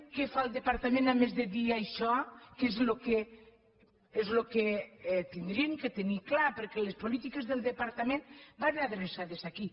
què fa el departament a més de dir això que és el que hauríem de tenir clar perquè les polítiques del departament van adreçades aquí